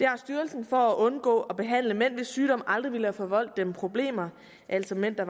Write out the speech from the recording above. har styrelsen for at undgå at behandle mænd hvis sygdom aldrig ville have forvoldt dem problemer altså mænd der